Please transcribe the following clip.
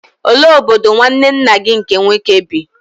Olee obodo nwanne nna gị nke nwoke bi?